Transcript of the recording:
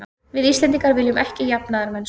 Við Íslendingar viljum ekki jafnaðarmennsku.